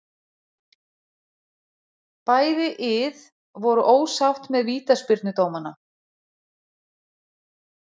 Bæði ið voru ósátt með vítaspyrnudómana.